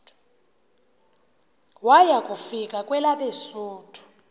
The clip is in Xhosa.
waya kufika kwelabesuthu